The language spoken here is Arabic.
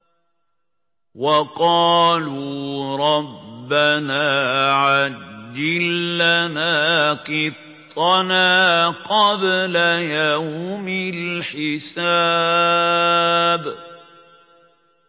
وَقَالُوا رَبَّنَا عَجِّل لَّنَا قِطَّنَا قَبْلَ يَوْمِ الْحِسَابِ